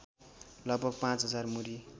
लगभग ५ हजार मुरी